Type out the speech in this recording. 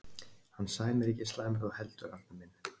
Hann Sæmi er ekki eins slæmur og þú heldur, Arnar minn.